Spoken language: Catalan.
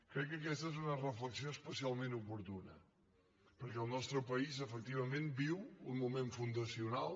crec que aquesta és una reflexió especialment oportuna perquè el nostre país efectivament viu un moment fundacional